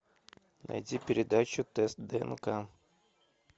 найти передачу тест днк